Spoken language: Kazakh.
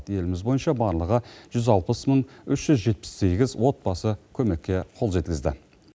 еліміз бойынша барлығы жүз алпыс мың үш жүз жетпіс сегіз отбасы көмекке қол жеткізді